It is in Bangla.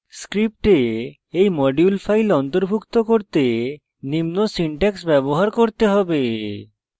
script এই module file অন্তর্ভুক্ত করতে নিম্ন syntax ব্যবহার করতে হবে